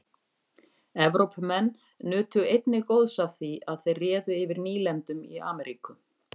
Evrópumenn nutu einnig góðs af því að þeir réðu yfir nýlendum í Ameríku.